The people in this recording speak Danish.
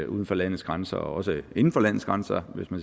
uden for landets grænser og også inden for landets grænser hvis man